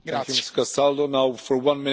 Herr Präsident, meine Damen und Herren!